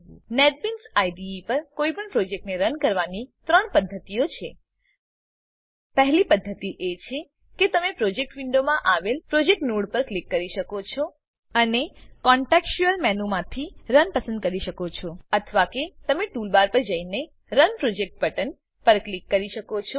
NetBeans IDE પર કોઈપણ પ્રોજેક્ટને રન કરવાની 3 પદ્ધતિઓ છે પહેલી પદ્ધતિ એ છે કે તમે પ્રોજેક્ટ વિન્ડોમાં આવેલ પ્રોજેક્ટ નોડ પર ક્લિક કરી શકો છો અને કોન્ટેકસ્ટયુઅલ મેનુમાંથી રન પસંદ કરી શકો છો અથવા કે તમે ટૂલબાર પર જઈને રન પ્રોજેક્ટ બટન પર ક્લિક કરી શકો છો